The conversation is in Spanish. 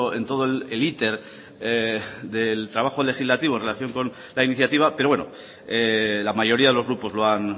en todo el iter del trabajo legislativo en relación con la iniciativa pero bueno la mayoría de los grupos lo han